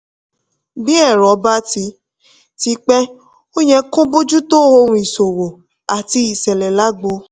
bí ẹ̀rọ bá ti ti pẹ́ ó yẹ kó o bójú tó ohun ìṣòwò àti ìṣẹlẹ̀ lágbo.